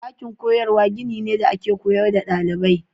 Dakin koyarwa gini ne da ake koyar da dalibai.